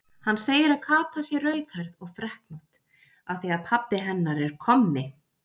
Hann segir að Kata sé rauðhærð og freknótt af því að pabbi hennar er kommi.